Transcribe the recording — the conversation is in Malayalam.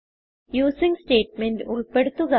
യൂസിങ് സ്റ്റേറ്റ്മെന്റ് ഉൾപ്പെടുത്തുക